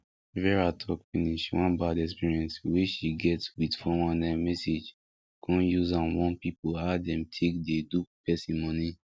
vera talk finish one bad experience wey she get wit four one nine message con use am warn people how dem take dey dupe person moni